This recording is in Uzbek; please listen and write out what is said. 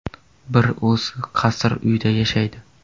Bir o‘zi qasr uyda yashaydi.